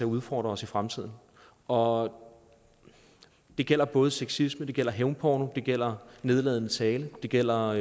udfordre os i fremtiden og det gælder både sexisme det gælder hævnporno det gælder nedladende tale og det gælder